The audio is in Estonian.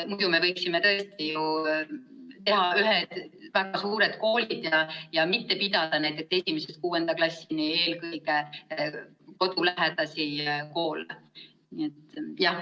Muidu me võiksime ju teha väga suured koolid ja mitte pidada 1.–6. klassini eelkõige kodulähedasi koole.